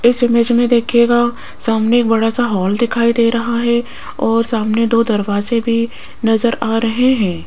इस इमेज में देखियेगा सामने बड़े सा हाॅल दिखाई दे रहा है और सामने दो दरवाजे भी नजर आ रहे हैं।